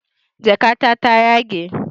Jakata ta yage